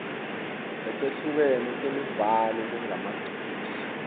letehlukene temibhalo lengemaciniso